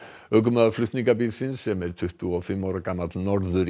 ökumaður sem er tuttugu og fimm ára Norður